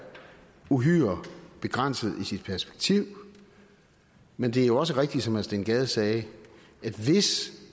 uhyre begrænset i sit perspektiv men det er jo også rigtigt som herre steen gade sagde at hvis